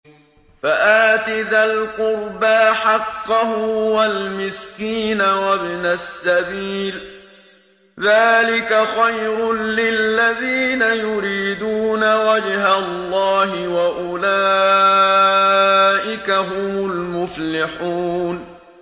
فَآتِ ذَا الْقُرْبَىٰ حَقَّهُ وَالْمِسْكِينَ وَابْنَ السَّبِيلِ ۚ ذَٰلِكَ خَيْرٌ لِّلَّذِينَ يُرِيدُونَ وَجْهَ اللَّهِ ۖ وَأُولَٰئِكَ هُمُ الْمُفْلِحُونَ